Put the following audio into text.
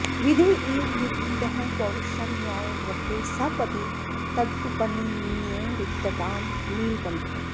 विधिरिव विपरीतः पौरुषं न्यायवृत्तेः सपदि तद् उपनिन्ये रिक्ततां नीलकण्ठः